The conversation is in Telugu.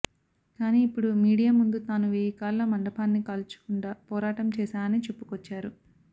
కానీ ఇప్పుడు మీడియా ముందు తాను వేయి కాళ్ల మండపాన్ని కూల్చకుండా పోరాటం చేశానని చెప్పుకొచ్చారు